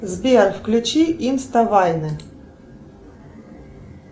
сбер включи инста вайны